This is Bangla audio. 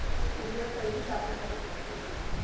courier service আপনার কাছে পৌঁছবে